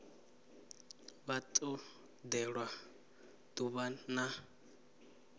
vha ḓo ṋewa ḓuvha ḽa